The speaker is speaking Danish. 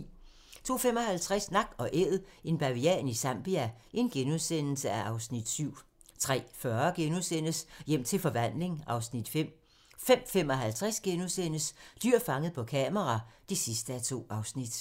02:55: Nak & Æd - en bavian i Zambia (Afs. 7)* 03:40: Hjem til forvandling (Afs. 5)* 05:55: Dyr fanget på kamera (2:2)*